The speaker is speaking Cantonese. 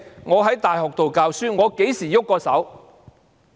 我在大學教書，我何時曾動過手？